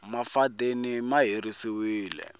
mafadeni ma herisiwile